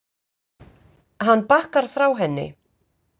Hann bakkar frá henni.